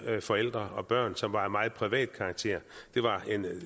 forældre og børn som var af meget privat karakter det var